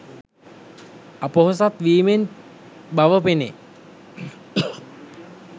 අපොහොසත් වීමෙන් බව පෙනේ.